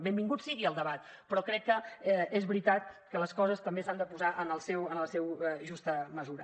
benvingut sigui el debat però crec que és veritat que les coses també s’han de posar en la seva justa mesura